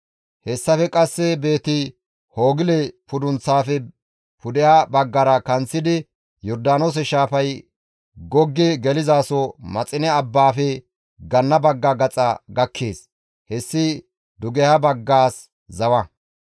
Hessafe qasse Beeti-Hoogile pudunththaafe pudeha baggara kanththidi, Yordaanoose shaafay goggi gelizaso Maxine abbaafe ganna bagga gaxa gakkees. Hessi dugeha baggaas zawa.